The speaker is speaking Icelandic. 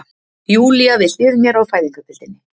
Júlía við hlið mér á fæðingardeildinni.